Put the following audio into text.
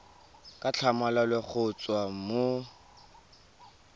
ka tlhamalalo go tswa mo